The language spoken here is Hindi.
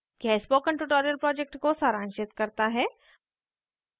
यह spoken tutorial project को सारांशित करता है